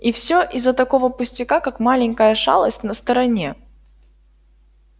и всё из за такого пустяка как маленькая шалость на стороне